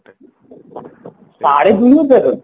ସାଢେ ଦୁଇ ହଜାରର